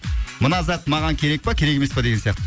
мына зат маған керек па керек емес па деген сияқты